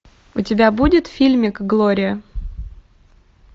у тебя будет фильмик глория